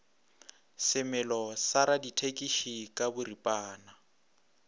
semelo sa radithekisi ka boripana